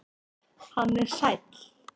Hann er sæll.